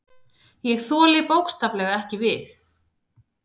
Ég þoli bókstaflega ekki við.